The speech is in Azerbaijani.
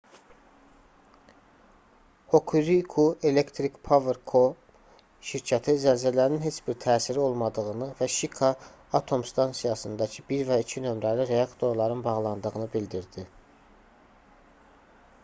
hokuriku electric power co şirkəti zəlzələnin heç bir təsiri olmadığını və şika atom stansiyasındakı 1 və 2 nömrəli reaktorların bağlandığını bildirdi